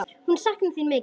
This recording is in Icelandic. Hún saknar þín mikið.